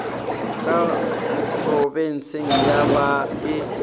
ka phrobenseng ye ba e